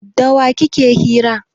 Da wa kike hira?